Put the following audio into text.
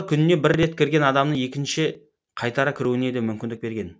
күніне бір рет кірген адамның екінші қайтара кіруіне де мүмкіндік берген